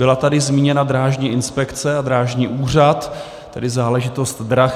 Byla tady zmíněna Drážní inspekce a Drážní úřad, tedy záležitost drah.